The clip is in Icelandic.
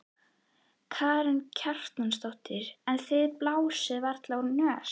Karen Kjartansdóttir: En þið blásið varla úr nös?